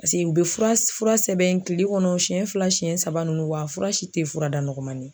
Paseke u bɛ fura sɛbɛn kile kɔnɔ siɲɛ fila siɲɛ saba ninnu wa a fura si tɛ fura da nɔgɔma ye.